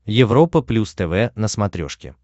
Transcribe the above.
европа плюс тв на смотрешке